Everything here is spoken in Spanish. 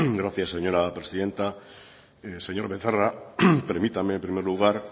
gracias señora presidenta señor becerra permítame en primer lugar